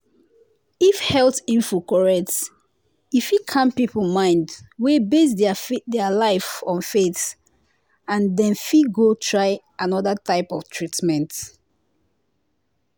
if health info correct e fit calm people mind wey base their life on faith and dem fit go try another type of treatment.